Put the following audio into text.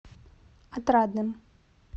отрадным